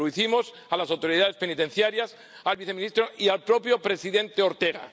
Se lo pedimos a las autoridades penitenciarias, al viceministro y al propio presidente Ortega.